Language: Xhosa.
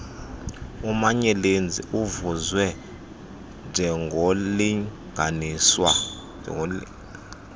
umanyelenzi uvezwe njengornlinganiswa